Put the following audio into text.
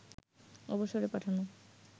অবসরে পাঠানো